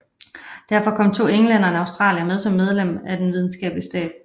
Derfor kom to englændere og en australier med som medlemmer af den videnskabelige stab